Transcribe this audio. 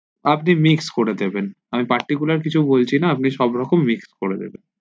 আপনি mix করে দেবেন আমি particular কিছু বলছি না আপনি সবরকম mix করে দিবেন